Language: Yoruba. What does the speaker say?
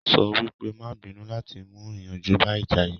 Sọ wípé "má à bínú" láti mú ìyanjú bá ìjà yìí